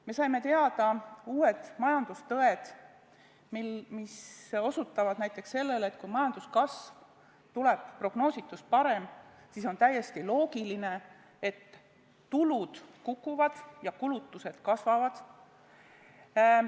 Me saime teada uued majandustõed, mis osutavad näiteks sellele, et kui majanduskasv tuleb prognoositust parem, siis on täiesti loogiline, et tulud kukuvad ja kulutused kasvavad.